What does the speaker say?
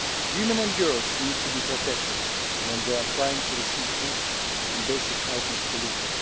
Women and girls need to be protected when they are trying to receive food and basic items to live.